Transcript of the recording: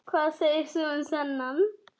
Hvað segir þú um þennan?